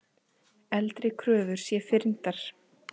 Eldri kröfur sé fyrndar.